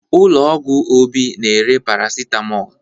Ụlọ ọgwụ Obi na-ere paracetamol